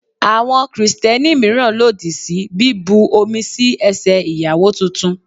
Àwọn Kristẹni míràn lòdì sí bí bu omi sí ẹsẹ̀ Ìyàwó tuntun.